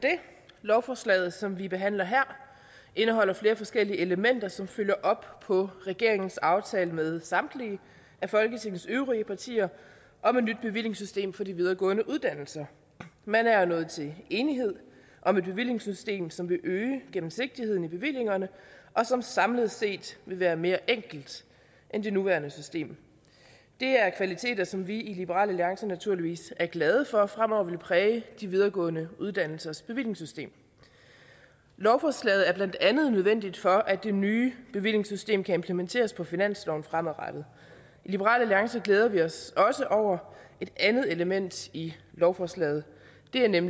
lovforslaget som vi behandler her indeholder flere forskellige elementer som følger op på regeringens aftale med samtlige af folketingets øvrige partier om et nyt bevillingssystem for de videregående uddannelser man er nået til enighed om et bevillingssystem som vil øge gennemsigtigheden i bevillingerne og som samlet set vil være mere enkelt end det nuværende system det er kvaliteter som vi i liberal alliance naturligvis er glade for fremover vil præge de videregående uddannelsers bevillingssystem lovforslaget er blandt andet nødvendigt for at det nye bevillingssystem kan implementeres på finansloven fremadrettet i liberal alliance glæder vi os også over et andet element i lovforslaget det er nemlig